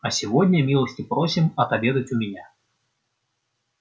а сегодня милости просим отобедать у меня